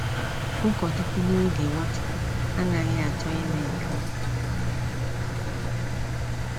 Ụkọchukwu n'oge Nwachukwu anaghị achọ ime nke a.